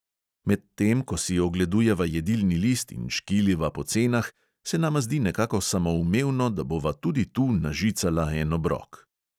Medtem ko si ogledujeva jedilni list in škiliva po cenah, se nama zdi nekako samoumevno, da bova tudi tu nažicala en obrok.